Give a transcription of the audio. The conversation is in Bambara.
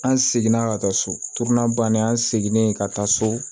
An seginna ka taa so bannen an seginne ka taa so